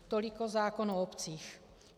Tolik zákon o obcích.